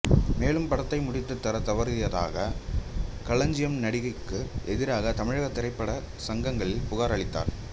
மேலும் படத்தை முடித்து தரத் தவறியதற்காக களஞ்சியம் நடிகைக்கு எதிராக தமிழ் திரைப்பட சங்கங்களில் புகார் அளித்தார்